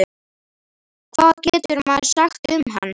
Hvað getur maður sagt um hann?